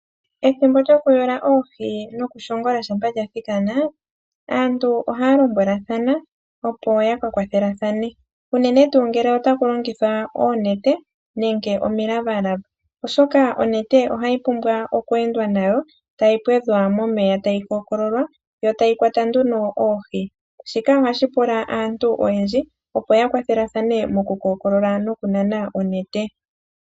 Ethimbo lyokuyula oohi nokushongola shampa lyathikana. Aantu ohaya lombwelathana opo yakakwathelathane unene tuu ngele otaku longithwa oonete nenge omilavalava, oshoka onete ohayi pumbwa okweendwa nayo tayi pwedhwa momeya tayi kookololwa yo tayi kwata nduno oohi. Shika ohashi pula aantu oyendji opo ya kwathelathane mokukookolola nokunana onete.